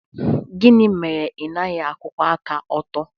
Gịnị mere na ị naghị akwụwa aka ọtọ?